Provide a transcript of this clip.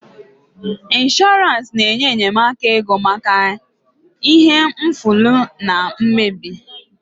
Ịnshọransị na-enye enyemaka ego maka ihe mfulahu na mmebi